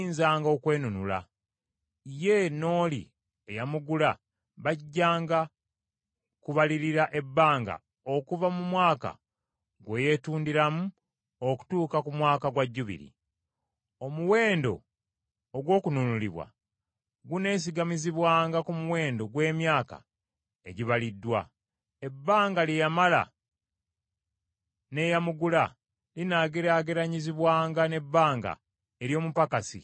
Ye n’oli eyamugula bajjanga kubalirira ebbanga okuva mu mwaka gwe yeetundiramu okutuuka ku Mwaka gwa Jjubiri. Omuwendo ogw’okununulibwa guneesigamizibwanga ku muwendo gw’emyaka egibaliriddwa; ebbanga lye yamala n’eyamugula linaageraageranyizibwanga n’ebbanga ery’omupakasi asasulwa empeera.